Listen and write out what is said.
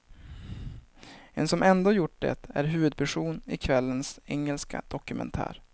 En som ändå gjort det är huvudperson i kvällens engelska dokumentär.